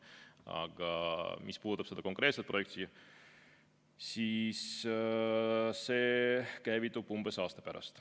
Aga mis puudutab seda konkreetset projekti, siis see käivitub umbes aasta pärast.